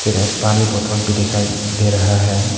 एक पानी बोतल भी दिखाई दे रहा है।